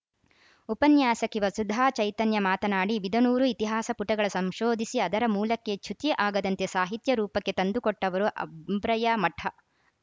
ಉಪನ್ಯಾಸಕಿ ವಸುಧಾ ಚೈತನ್ಯ ಮಾತನಾಡಿ ಬಿದನೂರು ಇತಿಹಾಸ ಪುಟಗಳ ಸಂಶೋಧಿಸಿ ಅದರ ಮೂಲಕ್ಕೆ ಚ್ಯುತಿ ಆಗದಂತೆ ಸಾಹಿತ್ಯ ರೂಪಕ್ಕೆ ತಂದುಕೊಟ್ಟವರು ಅಂಬ್ರಯ್ಯ ಮಠ